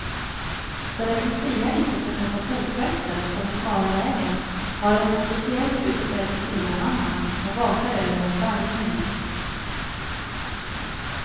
För att lucia inte ska tappa fotfästet på den smala vägen har hon en speciellt utsedd luciamamma som vakar över henne varje minut.